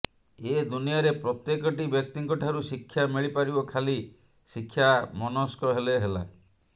ଏ ଦୁନିଆରେ ପ୍ରତ୍ୟେକଟି ବ୍ୟକ୍ତିଙ୍କ ଠାରୁ ଶିକ୍ଷା ମିଳିପାରିବ ଖାଲି ଶିକ୍ଷାମନସ୍କ ହେଲେ ହେଲା